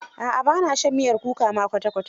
A'a ba na shan miyar kuka ma kwata kwata.